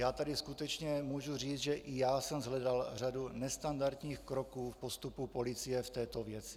Já tady skutečně mohu říci, že i já jsem shledal řadu nestandardních kroků v postupu policie v této věci.